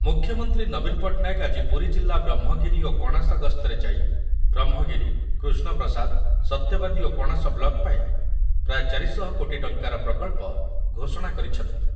ମୁଖ୍ୟମନ୍ତ୍ରୀ ନବୀନ ପଟ୍ଟନାୟକ ଆଜି ପୁରୀ ଜିଲ୍ଲା ବ୍ରହ୍ମଗିରି ଓ କଣାସ ଗସ୍ତରେ ଯାଇ ବ୍ରହ୍ମଗିରି, କୃଷ୍ଣପ୍ରସାଦ, ସତ୍ୟବାଦୀ ଓ କଣାସ ବ୍ଲକ ପାଇଁ ପ୍ରାୟ ଚାରି ଶହ କୋଟି ଟଙ୍କାର ପ୍ରକଳ୍ପ ଘୋଷଣା କରିଛନ୍ତି